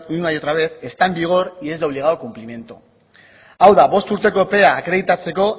una y otra vez está en vigor y es de obligado cumplimiento hau da bost urteko epea akreditatzeko